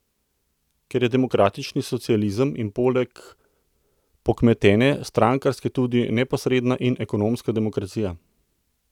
Kar je demokratični socializem in poleg pokmetene strankarske tudi neposredna in ekonomska demokracija.